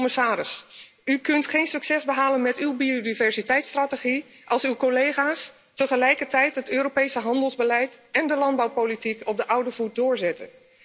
Commissaris, u kunt geen succes behalen met uw biodiversiteitsstrategie als uw collega's tegelijkertijd het Europese handelsbeleid en de landbouwpolitiek op de oude voet doorzetten.